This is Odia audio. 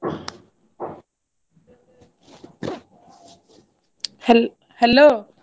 ହେଲ୍~ Hello ।